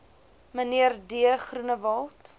mnr d groenewald